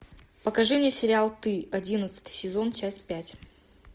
покажи мне сериал ты одиннадцатый сезон часть пять